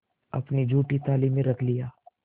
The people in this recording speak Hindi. अपनी जूठी थाली में रख लिया